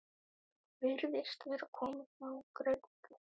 Þú virðist vera kominn á græna grein